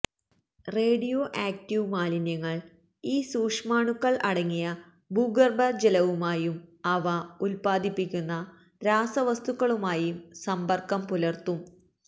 radio active മാലിന്യങ്ങൾ ഈ സൂക്ഷ്മാണുക്കൾ അടങ്ങിയ ഭൂഗർഭജലവുമായും അവ ഉൽപാദിപ്പിക്കുന്ന രാസവസ്തുക്കളുമായി സമ്പർക്കം പുലർത്തും